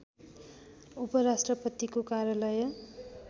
उपराष्ट्रपतिको कार्यालय